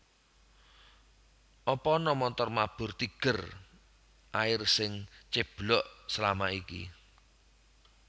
Apa ana montor mabur Tiger Air sing ceblok selama iki?